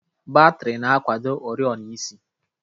Batrị na-akwado oriọna isi